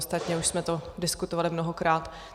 Ostatně už jsme to diskutovali mnohokrát.